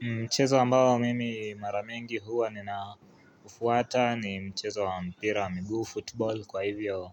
Mchezo ambao mimi maramengi huwa ninaufuata ni mchezo wa mpira wa miguu football kwa hivyo